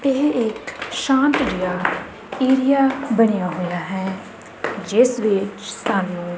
ਇਹ ਇੱਕ ਸ਼ਾਂਤ ਜਿਹਾ ਏਰੀਆ ਬਣਿਆ ਹੋਇਆ ਹੈ ਜਿਸ ਵਿੱਚ ਸਾਨੂੰ --